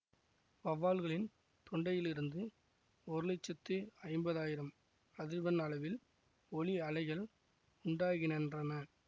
வௌவால்களின் தொண்டையில் இருந்து ஒரு லட்சத்து ஐம்பதாயிரம் அதிர்வெண் அளவில் ஒலி அலைகள் உண்டாகினன்றன